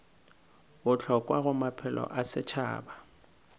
bohlokwa go maphelo a setšhaba